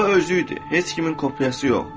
O özü idi, heç kimin kopyası yox.